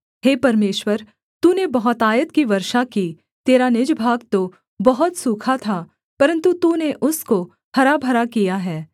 हे परमेश्वर तूने बहुतायत की वर्षा की तेरा निज भाग तो बहुत सूखा था परन्तु तूने उसको हरा भरा किया है